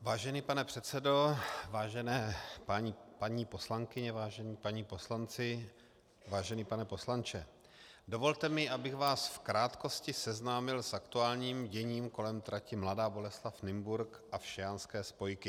Vážený pane předsedo, vážené paní poslankyně, vážení páni poslanci, vážený pane poslanče, dovolte mi, abych vás v krátkosti seznámil s aktuálním děním kolem trati Mladá Boleslav - Nymburk a všejanské spojky.